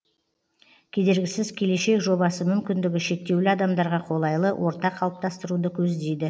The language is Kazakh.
кедергісіз келешек жобасы мүмкіндігі шектеулі адамдарға қолайлы орта қалыптастыруды көздейді